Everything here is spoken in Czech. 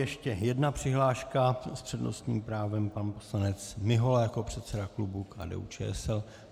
Ještě jedna přihláška - s přednostním právem pan poslanec Mihola jako předseda klubu KDU-ČSL.